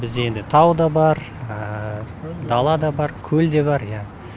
бізде енді тау да бар дала да бар көл де бар иә